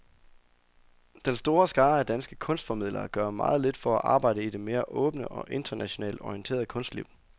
Den store skare af danske kunstformidlere gør meget lidt for at arbejde i det mere åbne og internationalt orienterede kunstliv.